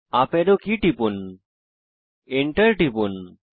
up arrow key টিপুন enter টিপুন